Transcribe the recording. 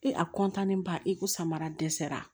E a ba e ko samara dɛsɛra